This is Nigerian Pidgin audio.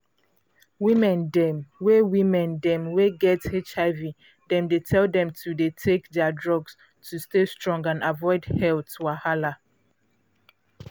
women dem wey women dem wey get hiv dem dey tell dem to dey take their drugs to stay strong and avoid health wahala.